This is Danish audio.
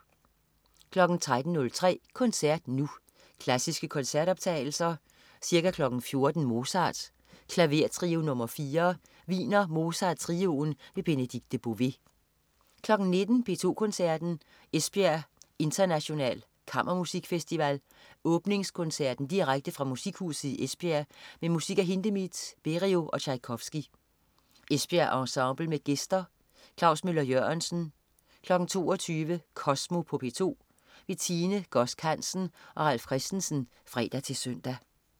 13.03 Koncert Nu. Klassiske koncertoptagelser. Ca. 14.00 Mozart: Klavertrio nr. 4. Wiener Mozart Trioen. Benedikte Bové 19.00 P2 Koncerten. Esbjerg International Kammermusikfestival. Åbningskoncerten direkte fra Musikhuset i Esbjerg med musik af Hindemith, Berio og Tjajkovski. Esbjerg Ensemble med gæster. Klaus Møller-Jørgensen 22.00 Kosmo på P2. Tine Godsk Hansen og Ralf Christensen (fre-søn)